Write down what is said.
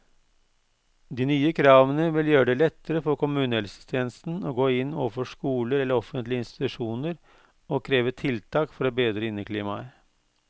De nye kravene vil gjøre det lettere for kommunehelsetjenesten å gå inn overfor skoler eller offentlige institusjoner og kreve tiltak for å bedre inneklimaet.